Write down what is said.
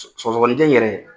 Sɔgɔsɔgɔni jɛ n yɛrɛ.